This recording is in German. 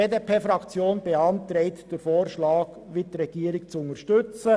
Die BDP-Fraktion beantragt, den Antrag der Regierung zu unterstützen.